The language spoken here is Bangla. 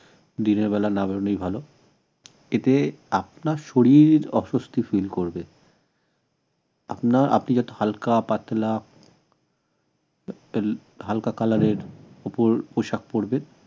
দিনের বেলা না বেরোনোই ভাল এতে আপনার শরীর অসুস্থ feel করবে আপনার আপনি যাতে হালকা পাতলা হালকা colour এর উপর পোশাক পড়বেন